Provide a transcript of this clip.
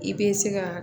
I bɛ se ka